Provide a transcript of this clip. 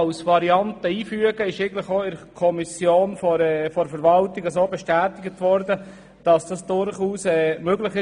Es wurde in der Kommission dahingehend von der Verwaltung bestätigt, dass diese durchaus möglich sei.